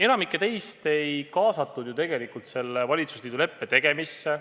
Enamikku teist ei kaasatud ju tegelikult selle valitsusliidu leppe tegemisse.